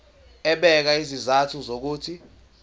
ebeka izizathu zokuthi